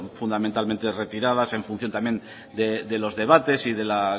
fundamentalmente retiradas en función también de los debates y de la